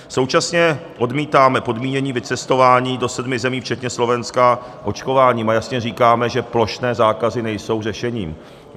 Současně odmítáme podmínění vycestování do sedmi zemí včetně Slovenska očkováním a jasně říkáme, že plošné zákazy nejsou řešením.